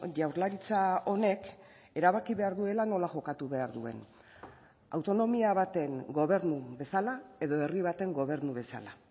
jaurlaritza honek erabaki behar duela nola jokatu behar duen autonomia baten gobernu bezala edo herri baten gobernu bezala